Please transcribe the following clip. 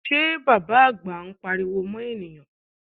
Ṣé Bàbá àgbà ń pariwo mọ́ ènìyàn?